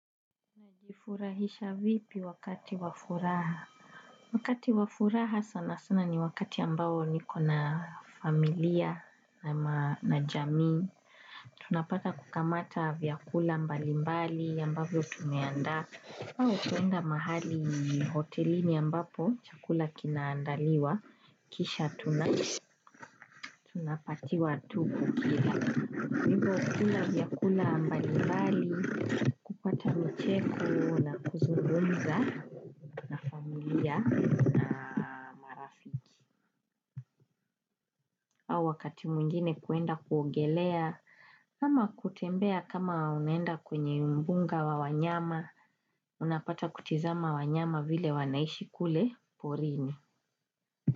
Najifurahisha vipi wakati wa furaha? Wakati wa furaha sana sana ni wakati ambao nikona familia na jamii. Tunapata kukamata vyakula mbalimbali ambavyo tumeandaa. Au kuenda mahali hotelini ambapo, chakula kinaandaliwa, kisha tunapatiwa tu kukila. Hivo kula vyakula mbalimbali, kupata micheko na kuzungumza na familia. Au wakati mwingine kwenda kuongelea kama kutembea kama unaenda kwenye mbunga wa wanyama. Unapata kutizama wanyama vile wanaishi kule porini.